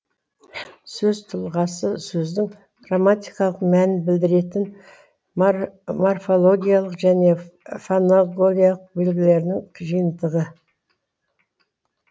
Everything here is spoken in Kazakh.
сөз тұлғасы сөздің грамматикалық мәнін білдіретін морфологиялық және фонологиялық белгілерінің жиынтығы